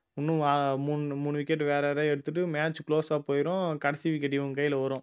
இன்னும் அஹ் மூணு மூணு wicket வேற யாரையாவது எடுத்திட்டு match close ஆ போயிரும் கடைசி wicket இவங்க கையில வரும்